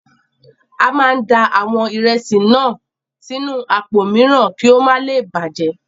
A máa da àwọn ìrẹsì náà sínú àpò mìíràn ki o má le bàjẹ́.